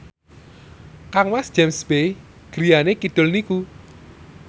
kangmas James Bay griyane kidul niku